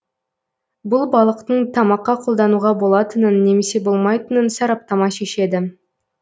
бұл балықтың тамаққа қолдануға болатынын немесе болмайтынын сараптама шешеді